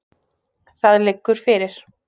Það liggur fyrir.